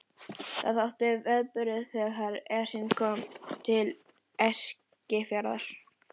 Það þótti viðburður þegar Esjan kom til Eskifjarðar.